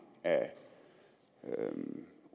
af